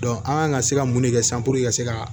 an kan ka se ka mun de kɛ sisan puruke ka se ka